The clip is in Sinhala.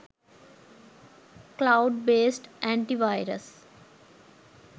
cloud based antivirus